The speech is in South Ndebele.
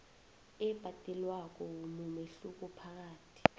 ebhadelwako mumehluko phakathi